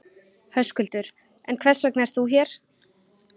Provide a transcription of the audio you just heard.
Höskuldur: En hvers vegna ert þú hér?